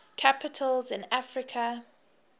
capitals in africa